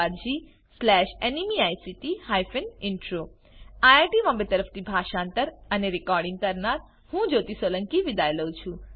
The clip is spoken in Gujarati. આઈઆઈટી બોમ્બે તરફથી હું જ્યોતી સોલંકી વિદાય લઉં છું